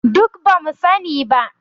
Duk ba mu sani ba